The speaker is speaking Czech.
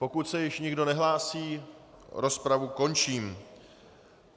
Pokud se už nikdo nehlásí, rozpravu končím.